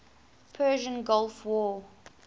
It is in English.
persian gulf war